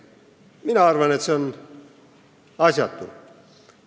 Mina arvan, et see on asjatu.